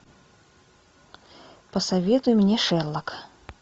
посоветуй мне шерлок